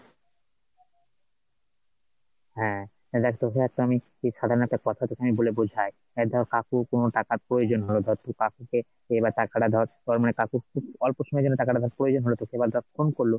হ্যাঁ, এই দেখ তোকে একটা আমি কি সাধারণ একটা কথা বলে বোঝাই এই ধর কাকুর কোনো টাকার প্রয়োজন হলো, ধর তুই কাকুকে এইবার টাকাটা ধর কাকুকে মানে খুব অল্প সময়ের জন্য টাকার ধর প্রয়োজন হলো তোকে এবার ধর phone করলো,